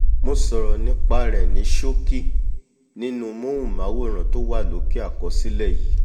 mo sọ̀rọ̀ nípa rẹ̀ ní ṣókí nínú móhùnmáwòrán tó wà lókè àkọslẹ̀ yìí